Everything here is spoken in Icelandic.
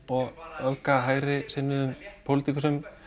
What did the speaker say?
og öfga hægrisinnuðum pólitíkusum